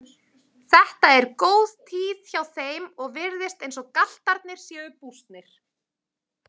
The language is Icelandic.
Þetta er góð tíð hjá þeim og virðist eins og galtarnir séu bústnir.